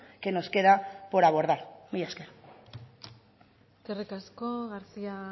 que nos queda por abordar mila esker eskerrik asko garcía